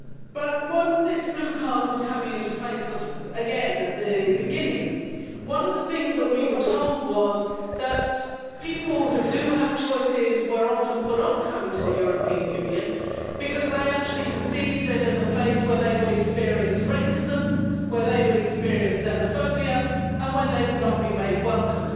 But when this Blue Card was coming into place, again at the beginning, one of the things that we were told was that people who have choices were often put off coming to the European Union because they actually perceived it as a place where they would experience racism, where they would experience xenophobia and where they would not be made welcome.